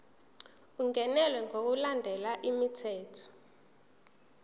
ungenelwe ngokulandela umthetho